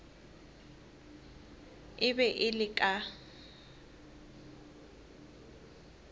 e be e le ka